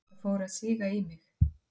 Það fór að síga í mig.